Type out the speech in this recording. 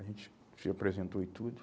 A gente se apresentou e tudo.